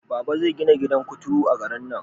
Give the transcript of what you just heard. Baba zai gina gidan kuturu a garin nan